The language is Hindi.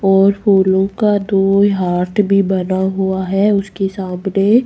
और फूलों का दो हॉट भी बना हुआ है उसके सामने--